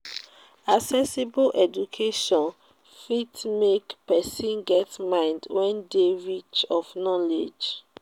accessible education fit make persin get mind wey de rich of knowlegdge